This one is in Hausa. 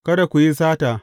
Kada ku yi sata.